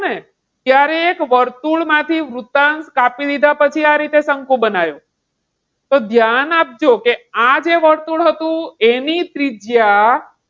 ત્યારે એક વર્તુળ માંથી વૃતાંગ કાપી લીધા પછી આ રીતે શંકુ બનાવ્યો. તો ધ્યાન આપજો કે આજે વર્તુળ હતો એની ત્રિજ્યા,